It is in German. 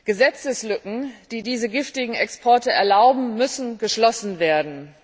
Gesetzeslücken, die diese giftigen Exporte ermöglichen, müssen geschlossen werden.